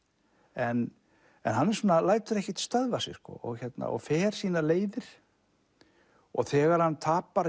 en hann lætur ekkert stöðva sig og fer sínar leiðir og þegar hann tapar